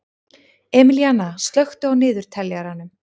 Emilíanna, slökktu á niðurteljaranum.